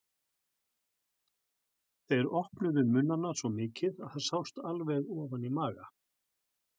Þeir opnuðu munnana svo mikið að það sást alveg ofan í maga.